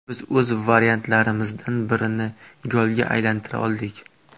Biz o‘z vaziyatlarimizdan birini golga aylantira oldik.